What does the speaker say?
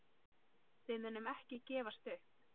Við munum ekki gefast upp.